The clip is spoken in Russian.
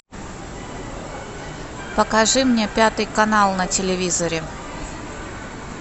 покажи мне пятый канал на телевизоре